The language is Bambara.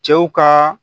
Cɛw ka